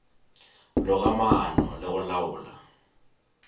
loga maano le go laola